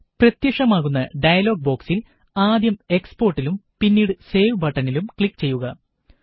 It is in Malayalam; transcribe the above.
പ്രത്യക്ഷമാകുന്ന ഡയലോഗ് ബോക്സില് ആദ്യം എക്സ് പോര്ട്ടിലും പിന്നീട് സേവ് ബട്ടനിലും ക്ലിക്ക് ചെയ്യുക